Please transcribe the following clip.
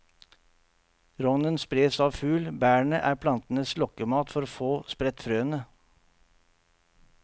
Rognen spres av fugl, bærene er plantens lokkemat for å få spredt frøene.